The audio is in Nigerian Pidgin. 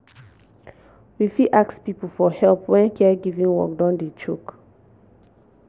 we fit ask pipo for help when di caregiving work don dey choke